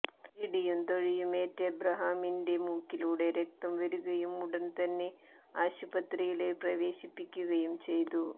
ഇടിയും തൊഴിയുമേറ്റ് ഇബ്രാഹീമിന്റെ മൂക്കിലൂടെ രക്തം വരുകയും ഉടന് തന്നെ ആശുപത്രിയില് പ്രവേശിപ്പിക്കുകയും ചെയ്തു